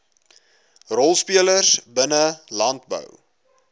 rolspelers binne landbou